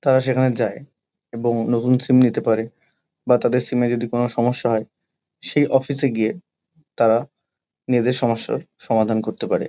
তারা সেখানে যায় এবং নতুন সিম নিতে পারে বা তাদের সিম -এ যদি কোনো সমস্যা হয় সেই অফিস -এ গিয়ে তারা নিজেদের সমস্যার সমাধান করতে পারে।